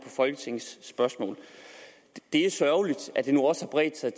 folketingets spørgsmål det er sørgeligt at det nu også har bredt sig